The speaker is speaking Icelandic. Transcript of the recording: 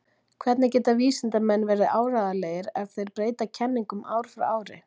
Hvernig geta vísindamenn verið áreiðanlegir ef þeir breyta kenningum ár frá ári?